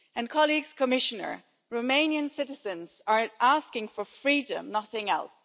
Colleagues, Commissioner, Romanian citizens are asking for freedom, nothing else.